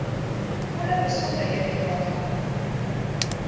volle besonderhede daarvan